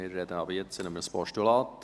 Wir sprechen ab jetzt über ein Postulat.